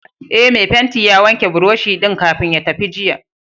Ee, mai fenti ya wanke buroshi din kafin ya tafi jiya.